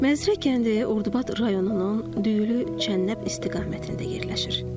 Məzrə kəndi Ordubad rayonunun Düylü, Çənnəb istiqamətində yerləşir.